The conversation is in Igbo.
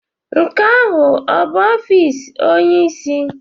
Nke ahụ ọ bụ ọfịs onyeisi?